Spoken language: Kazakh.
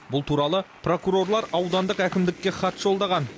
бұл туралы прокурорлар аудандық әкімдікке хат жолдаған